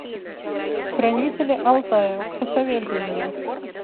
хранители алтая посоветуй мне